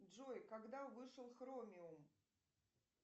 джой когда вышел хромиум